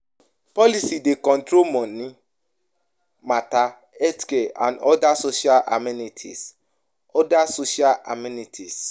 Policy dey control money matter, healthcare and oda social amenities oda social amenities